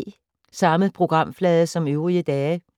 Samme programflade som øvrige dage